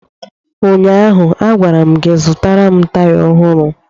Ụnyaahụ, a gwara m gị, zụtara m taya ọhụrụ!